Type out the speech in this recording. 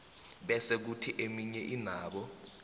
bese khuthi eminye ayinabo